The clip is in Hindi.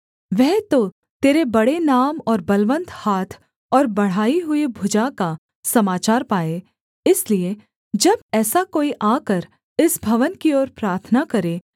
वह तो तेरे बड़े नाम और बलवन्त हाथ और बढ़ाई हुई भुजा का समाचार पाए इसलिए जब ऐसा कोई आकर इस भवन की ओर प्रार्थना करे